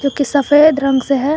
की सफेद रंग से है।